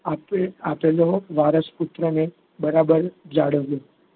આપેલો વરસો પુત્રે બરાબર જાળવ્યો.